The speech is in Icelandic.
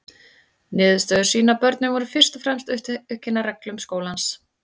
Niðurstöður sýna að börnin voru fyrst og fremst upptekin af reglum skólans.